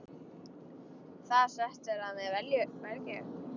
Það setur að mér velgju.